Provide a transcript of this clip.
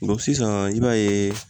sisan i b'a ye